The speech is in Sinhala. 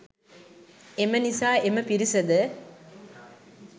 එම නිසා එම පිරිසද